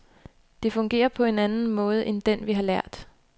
Det fungerer på en anden måde end den, vi har lært.